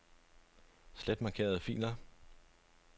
Slet markerede filer.